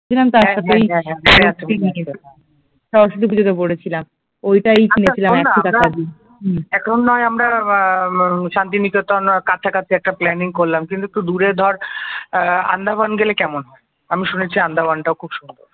হম এখন নয় আমরা বা শান্তিনিকেতন বা কাছাকাছি একটা প্ল্যানিং করলাম কিন্তু একটু দূরে ধর আহ আন্দামান গেলে কেমন হয় আমি শুনেছি আন্দামান টাও খুব সুন্দর